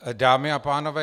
Dámy a pánové.